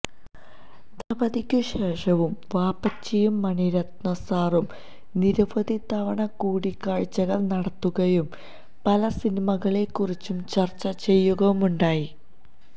ദളപതിക്കു ശേഷവും വാപ്പച്ചിയും മണിരത്നം സാറും നിരവധി തവണ കൂടിക്കാഴ്ചകൾ നടത്തുകയും പല സിനിമകളെക്കുറിച്ചും ചർച്ച ചെയ്യുകയുമുണ്ടായി